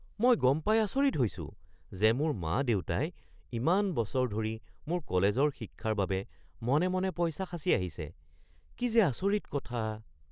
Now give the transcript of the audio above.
মই গম পাই আচৰিত হৈছো যে মোৰ মা-দেউতাই ইমান বছৰ ধৰি মোৰ কলেজৰ শিক্ষাৰ বাবে মনে মনে পইচা সাঁচি আহিছে। কি যে আচৰিত কথা!